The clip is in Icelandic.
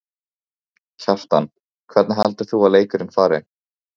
Kjartan: Hvernig heldur þú að leikurinn fari?